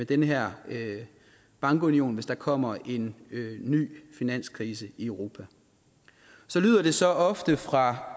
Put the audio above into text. den her bankunion hvis der kommer en ny finanskrise i europa så lyder det så ofte fra